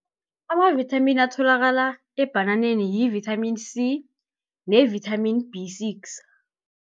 Amavithamini atholakala ebhananeni yi-vitamin C, ne-vitamin B six.